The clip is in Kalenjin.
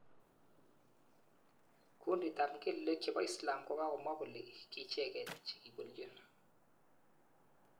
Kundit ap mgelelik chepo Islam kokamwa kole kiicheket chekiipolchin